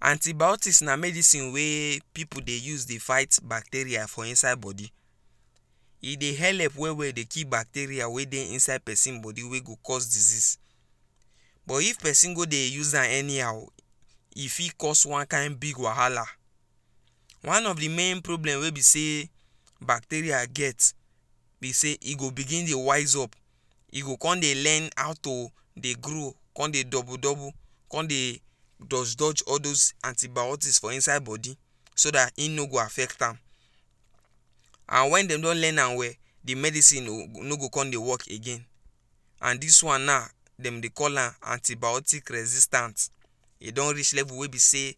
Antibiotics na medicine wey pipu dey use dey fight bacteria for inside body e dey helep well well dey kill bacteria wey dey inside pesin body wey go cause disease but if pesin go dey use am anyhow e fit cause one kain big wahala one of di main problem wey be say bacteria get be say e go begin dey wise up e go come dey learn how to dey grow come dey double double come dey dodge dodge all those antibiotics for inside body so dat im no go affect am and wen dem don learn am well di medicine no go come dey wok again and dis one now dem dey call am antibiotic resistance dem dey call am antibiotic resistance e don reach level wey be say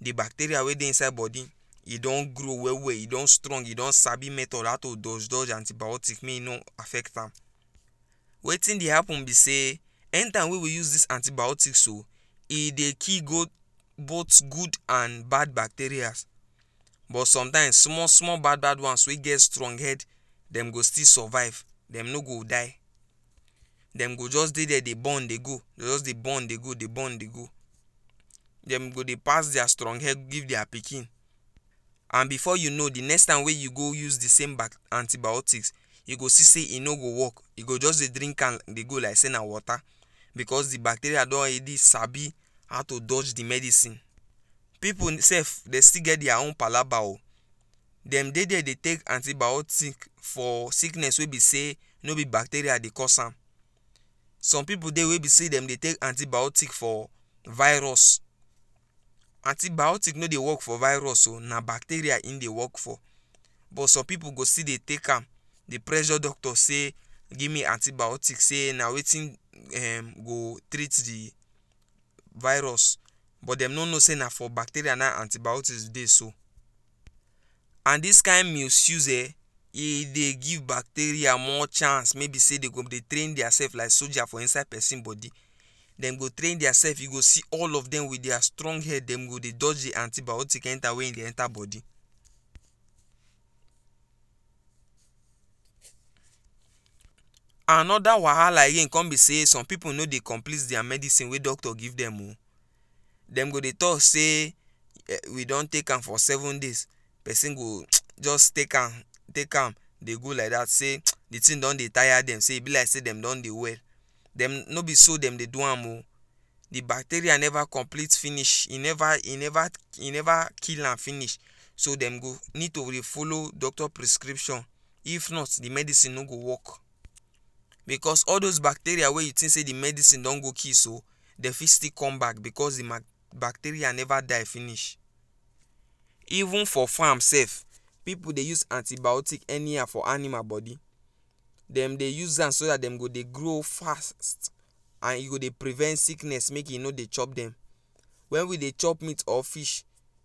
di bacteria wey dey inside body e don grow well well e don strong you don sabi method how to dodge dodge make e know affect am Wetin dey happun be say any time wey we use dis antibiotics so e dey kill both good and bad bacteria but somtime small small bad bad one wey get strong head dem go still survive dem no go die dem go just dey dia dey born dey go dey just dey born dey go dey born dey go dey go dey pass dia strong head give dia pikin and bifor you know di next time wey you go use di same back antibiotics e go see e no go wok e go just dey drink am dey go like say na water bicos di bacteria don sabi how to dodge di medicine Pipu dey sef dey still get dia own palaba o dem dey dia dey take antibiotic for sickness wey be say no be bacteria dey cause am some pipu dey wey be say dem dey take antibiotic for virus antibiotic no dey wok for virus na bacteria im dey wok for but some pipu go still dey take am dey pressure doctor say give me antibiotic say na wetin go treat di virus but dem no know say na for bacteria na im antibiotics dey so and dis kain misuse eh e dey give bacteria more chance wey be say dem go dey train dia sef like soldiers for inside pesin body dem go train dia sef you go see all of dem wit dia strong head dem go dey dodge di antibiotic enta wey you dey enta body Anoda wahala again come be say some pipu no dey complete dia medicine doctor give dem o dem go dey tok say we don take am for seven days pesin go just take am take am dey go like dat say di tin don dey tire dem say e be like say dem don dey well dem no be so dem dey do am oh di bacteria never complete finish e never e never e never kill am finish so dem go need to dey follow doctor prescription if not di medicine no go wok bicos all those bacteria wey you think say di medicine don go kill so dem fit still come back bicos di bacteria never die finish Even for farms pipu dey use antibiotic anyhow for animal body dem dey use am so dat dem go dey grow fast and you go dey prevent sickness make e no dey chop dem wen we dey chop meat or fish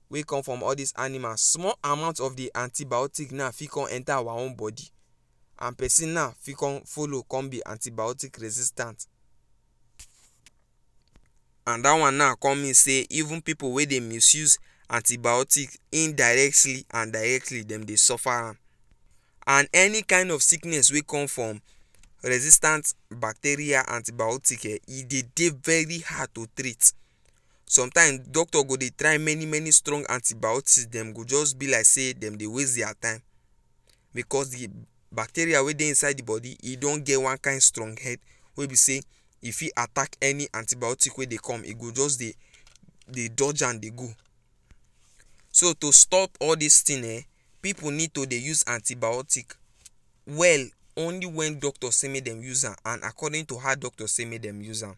wey come from all dis animals small amount of di antibiotic now fit come enta our own body and pesin now fit come follow come be antibiotic resistance and dat one now come mean say even pipu wey dey misuse antibiotic indirect and direct dem dey suffer am and any kain of sickness wey come from resistance bacteria antibiotic e dey dey very hard to treat somtime doctor go dey try many many strong antibiotic dem go just be like say dem dey waste dia time bicos di bacteria wey dey inside di body e don get one kain strong head wey be say e fit attack any antibiotic wey dey come e go just dey dey dodge am dey go So to stop all dis tin eh pipu need to dey use antibiotic well only wen doctor say make dem use am and according to how doctor say make dem use am.